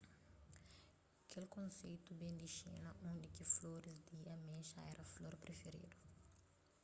kel konseitu ben di xina undi ki floris di amexa éra flor prifiridu